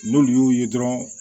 N'olu y'u ye dɔrɔn